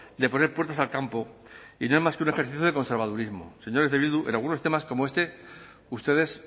de poner puertas al campo y no es más que un ejercicio de conservadurismo señores de bildu en algunos temas como este ustedes